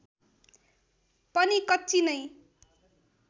पनि कच्ची नै